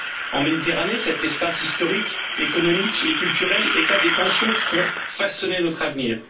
En Méditerranée, cet espace historique, économique et culturel, éclatent des tensions qui vont façonner notre avenir.